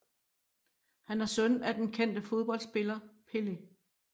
Han er søn af den kendte fodboldspiller Pelé